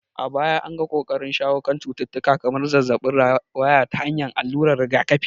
A baya an ga ƙoƙarin shawo kan cututtuka kamar zazzabin rawaya ta hanyar alluran rigakafi.